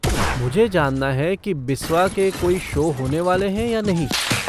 मुझे जानना है कि बिस्वा के कोई शो होने वाले हैं या नहीं।